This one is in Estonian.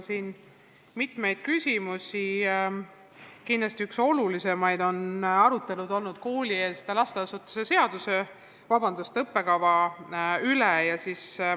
Kindlasti on üks olulisimaid arutelusid olnud arutelu koolieelsete lasteasutuste õppekava üle.